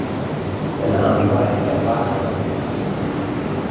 En hann var ekki af baki dottinn.